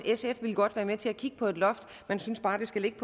godt vil være med til at kigge på et loft man synes bare at det skal ligge